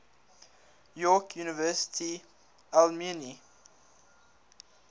york university alumni